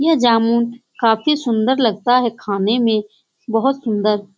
यह जामुन काफी सुन्दर लगता है खाने में बहोत सुन्दर --